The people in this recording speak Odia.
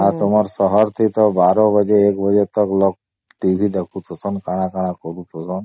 ଆଉ ତମର ସହର ସେ ତ ୧୨ ବାଜେ ୧ ବାଜେ ତକ ଲୋକ TV ଦେଖୁସନ କଣା କଣା କରୁସନ